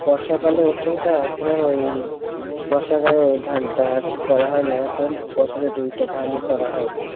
বর্ষাকালে ওঠে তা এখন আর এই, বর্ষাকালের ওই ধানটা আরকি করা হয়না এখন বছরে দুইটা ধানই করা হয়,